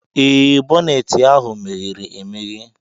Ee, boneeti ahu meghere-emeghe.